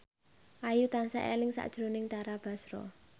Ayu tansah eling sakjroning Tara Basro